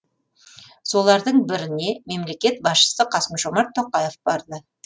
солардың біріне мемлекет басшысы қасым жомарт тоқаев барды